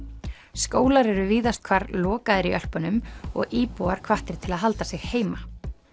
skólar eru víðast hvar lokaðir í Ölpunum og íbúar hvattir til að halda sig heima